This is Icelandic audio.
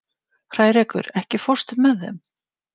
Hrærekur, ekki fórstu með þeim?